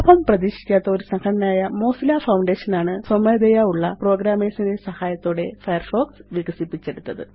ലാഭം പ്രതീക്ഷിക്കാത്ത ഒരു സംഘടനയായ മൊസില്ല ഫൌണ്ടേഷൻ ആണ് സ്വമേധയാ ഉള്ള പ്രോഗ്രാമർസ് ന്റെ സഹായത്തോടെ ഫയർഫോക്സ് വികസിപ്പിച്ചെടുത്തത്